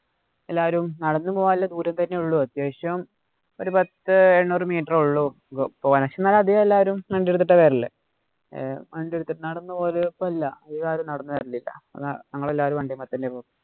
എല്ലാവരും നടന്നു പോകാനുള്ള ദൂരം തന്നെയുള്ളൂ. അത്യാവശ്യം ഒരു പത്ത് എണ്ണൂറ് meter ഏ ഒള്ളൂ പോവാന്. എന്നാലും അധികം എല്ലാരും വണ്ടി എടുത്താ വരല്. ഏർ എല്ലാരും നടന്നു വരലില്ല. ഞങ്ങള് എല്ലാരും വണ്ടീമെ തന്നെയാണ് പോക്ക്.